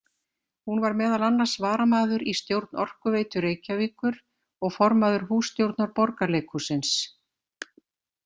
Hún var meðal annars varamaður í stjórn Orkuveitu Reykjavíkur og formaður hússtjórnar Borgarleikhússins.